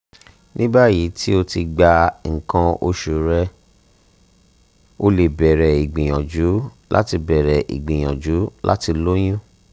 ni bayi ti o ti gba ikan oṣu rẹ o le bẹrẹ igbiyanju lati bẹrẹ igbiyanju lati loyun